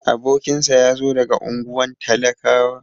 Abokinsa yazo daga unguwan talakawa.